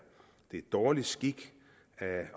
dårlig skik